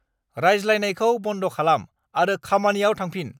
रायज्लायनायखौ बन्द' खालाम आरो खामानियाव थांफिन।